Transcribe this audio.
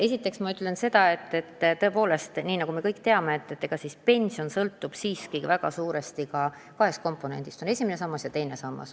Esiteks ma ütlen seda, et nagu me kõik teame, pension sõltub suurel määral kahest komponendist: on esimene sammas ja teine sammas.